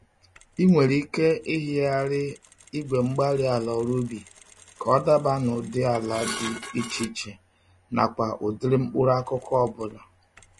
Ị nwere ike ịhịgharị igwe-mgbárí-ala ọrụ ubi ka ọ daba n'ụdị ala dị iche iche nakwa ụdịrị mkpụrụ-akụkụ ọbula.